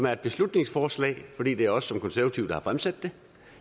er et beslutningsforslag fordi det er os som konservative der har fremsat